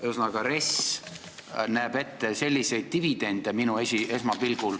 Ühesõnaga, RES näeb esmapilgul ette sellist dividendi.